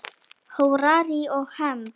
Hórarí og hefnd?